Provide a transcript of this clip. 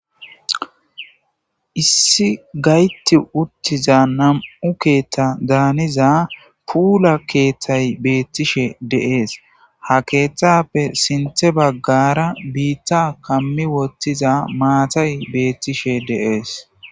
Issi gayti uttiza nam'u keettadaaniza puula keeththay beettishe dees. Ha keeththappe sintha baggara biitta kammi wottiza maatay beettishe dees.